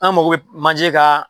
An mako bɛ manje ka